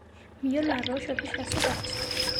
Miyiolo atoosho pisha supat